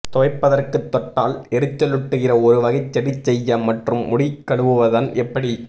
துவைப்பதற்கு தொட்டால் எரிச்சலூட்டுகிற ஒருவகை செடி செய்ய மற்றும் முடி கழுவுவதன் எப்படி